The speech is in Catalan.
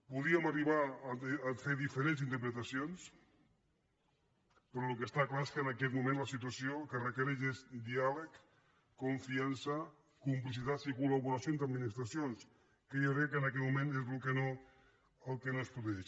podíem arribar a fer diferents interpretacions però el que està clar és que en aquest moment la situació el que requereix és diàleg confiança complicitats i col·laboració entre administracions que jo crec que en aquest moment és el que no es produeix